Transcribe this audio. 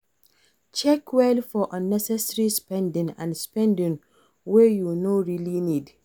Check well for unnecessary spending and spending wey you no really need